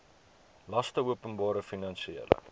laste openbare finansiële